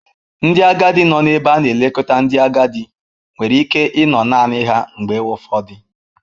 Ndị agadi nọ n'ebe a na-elekọta ndị agadi nwere ike ịnọ naanị ha mgbe ụfọdụ.